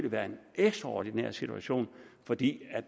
været en ekstraordinær situation fordi